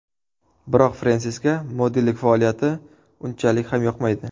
Biroq Frensisga modellik faoliyati unchalik ham yoqmaydi.